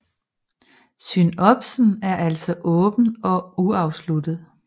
Synopsen er altså åben og uafsluttet